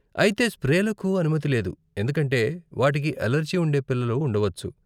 అయితే స్ప్రేలకు అనుమతి లేదు, ఎందుకంటే వాటికి అలెర్జీ ఉండే పిల్లలు ఉండవచ్చు.